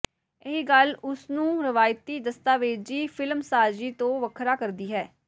ਇਹੀ ਗੱਲ ਉਸ ਨੂੰ ਰਵਾਇਤੀ ਦਸਤਾਵੇਜ਼ੀ ਫਿਲਮਸਾਜ਼ੀ ਤੋਂ ਵੱਖਰਾ ਕਰਦੀ ਹੈ